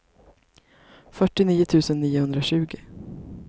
fyrtionio tusen niohundratjugo